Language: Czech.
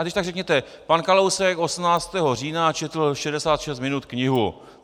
A když tak řekněte: Pan Kalousek 18. října četl 66 minut knihu.